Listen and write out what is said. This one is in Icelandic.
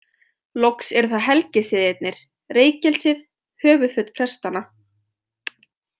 Loks eru það helgisiðirnir, reykelsið, höfuðföt prestanna.